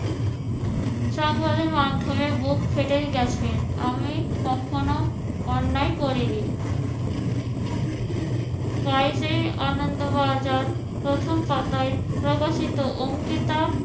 সংবাদের মাধ্যমে বুক ফেটেই গেছে। আমি কখনো অন্যায় করিনি। বাইশে আনন্দ বাজার প্রথম পাতায় প্রকাশিত অঙ্কিতা